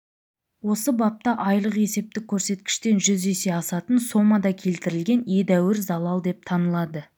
осы бапта айлық есептік көрсеткіштен жүз есе асатын сомада келтірілген едәуір залал деп танылады